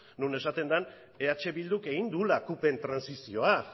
non esaten den eh bilduk egin duela cupen trantsizioa